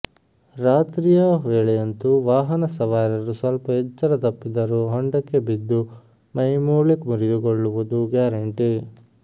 ರಾತ್ರಿಯ ವೇಳೆಯಂತೂ ವಾಹನ ಸವಾರರು ಸ್ವಲ್ಪ ಎಚ್ಚರ ತಪ್ಪಿದರೂ ಹೊಂಡಕ್ಕೆ ಬಿದ್ದು ಮೈ ಮೂಳೆ ಮುರಿದು ಕೊಳ್ಳುವುದು ಗ್ಯಾರಂಟಿ